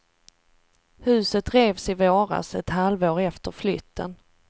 Huset revs i våras, ett halvår efter flytten.